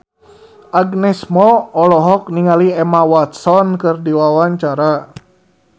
Agnes Mo olohok ningali Emma Watson keur diwawancara